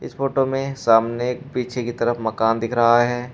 इस फोटो में सामने एक पीछे की तरफ मकान दिख रहा है।